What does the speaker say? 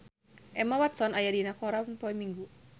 Emma Watson aya dina koran poe Minggon